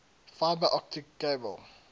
fiber optic cable